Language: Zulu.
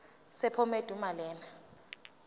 sephomedi uma lena